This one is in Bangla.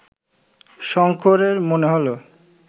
শঙ্করের মনে হল